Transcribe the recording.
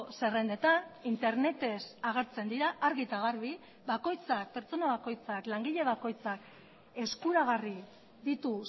zerrendetan internetez agertzen dira argi eta garbi bakoitzak pertsona bakoitzak langile bakoitzak eskuragarri ditu